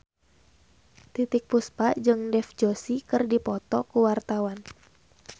Titiek Puspa jeung Dev Joshi keur dipoto ku wartawan